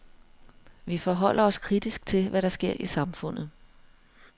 Vi forholder os kritisk til, hvad der sker i samfundet.